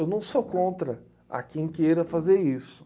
Eu não sou contra a quem queira fazer isso.